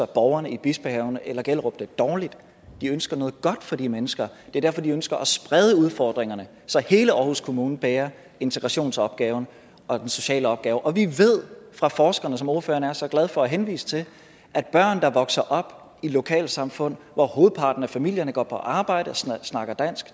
borgerne i bispehaven eller gellerup de ønsker noget godt for de mennesker det er derfor de ønsker at sprede udfordringerne så hele aarhus kommune bærer integrationsopgaven og den sociale opgave og vi ved fra forskerne som ordføreren er så glad for at henvise til at børn der vokser op i lokalsamfund hvor hovedparten af familierne går på arbejde og